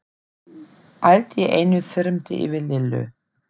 Allt í einu þyrmdi yfir Lillu.